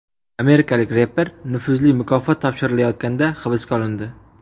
Amerikalik reper nufuzli mukofot topshirilayotganda hibsga olindi.